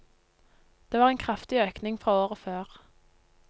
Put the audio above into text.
Det var en kraftig økning fra året før.